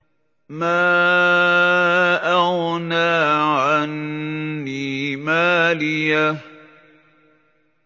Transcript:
مَا أَغْنَىٰ عَنِّي مَالِيَهْ ۜ